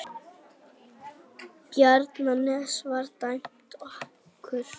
Ég veit hvaða hús það er sem eldurinn á að lyfta upp til himna.